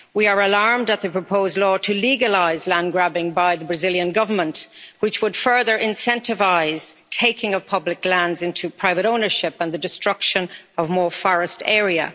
We are alarmed at the proposed law to legalise land-grabbing by the Brazilian government, which would further incentivise taking of public lands into private ownership and the destruction of more forest area.